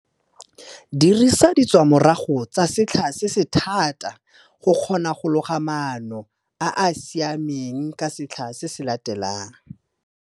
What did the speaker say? Dirisa ditswamorago tsa setlha se se thata go kgona go loga maano a a siameng ka setlha se se latelang.